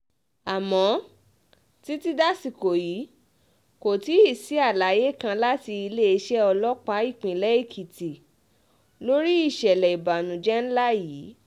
àmọ́ títí dasìkò yìí kò tíì sí àlàyé kan láti iléeṣẹ́ ọlọ́pàá ìpínlẹ̀ èkìtì lórí ìṣẹ̀lẹ̀ ìbànújẹ́ ńlá yìí